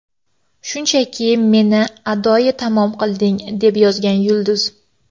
Shunchaki meni adoyi tamom qilding”, − deb yozgan yulduz.